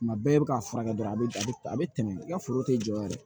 Tuma bɛɛ i bɛ ka furakɛ dɔrɔn a bɛ a bɛ a bɛ tɛmɛ i ka foro tɛ jɔ yɛrɛ